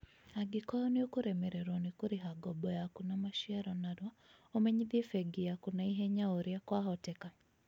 Angĩkorũo nĩ ũkũremererũo nĩ kũrĩha ngombo yaku na maciaro narua ũmenyithie bengi yaa̅ku na ĩhenya oũrĩa kwahoteka.